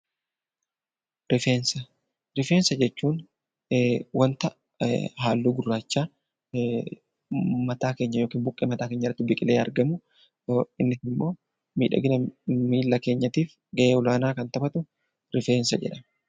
Rifeensa jechuun wanta halluu gurraacha mataa keenya yookiin buqqee mataa keenyaa irratti biqilee argamudha. Innis immoo miidhagina miila keenyaatiif gahee olaanaa kan taphatu rifeensa jedhama